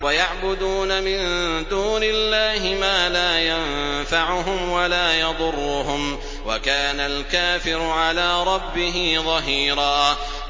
وَيَعْبُدُونَ مِن دُونِ اللَّهِ مَا لَا يَنفَعُهُمْ وَلَا يَضُرُّهُمْ ۗ وَكَانَ الْكَافِرُ عَلَىٰ رَبِّهِ ظَهِيرًا